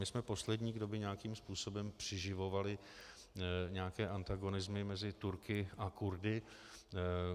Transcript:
My jsme poslední, kdo by nějakým způsobem přiživovali nějaké antagonismy mezi Turky a Kurdy.